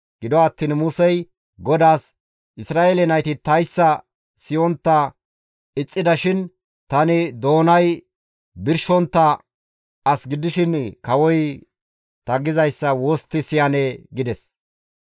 Gido attiin Musey GODAAS, «Isra7eele nayti tayssa siyontta ixxida shin tani doonay birshontta as gidishin kawoy ta gizayssa wostti siyanee?» gides.